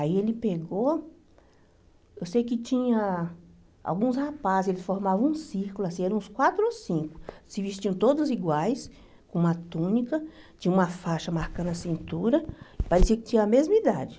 Aí ele pegou, eu sei que tinha alguns rapazes, ele formava um círculo, assim eram uns quatro ou cinco, se vestiam todos iguais, com uma túnica, tinha uma faixa marcando a cintura, parecia que tinha a mesma idade.